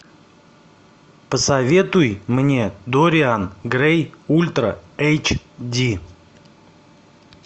посоветуй мне дориан грей ультра эйч ди